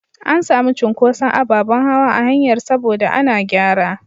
An sami cunkuson ababen hawa a hanyar saboda ana gyara.